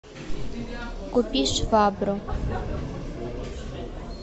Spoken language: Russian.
купи швабру